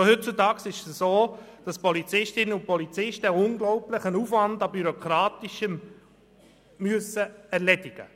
Schon heute müssen die Polizistinnen und Polizisten eine unglaubliche Menge an Bürokratie erledigen.